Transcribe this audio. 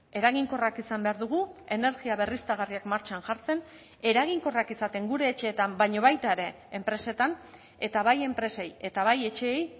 eraginkorrak izan behar dugu energia berriztagarriak martxan jartzen eraginkorrak izaten gure etxeetan baina baita ere enpresetan eta bai enpresei eta bai etxeei